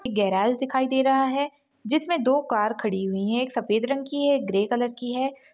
एक गैरेज दिखाई दे रहा है जिसमे दो कार खड़ी हुई हैं एक सफेद रंग की है एक ग्रे कलर की है।